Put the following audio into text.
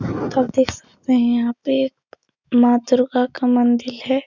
तो आप देख सकते है यहाँ पे एक माँ दुर्गा का मंदिर है।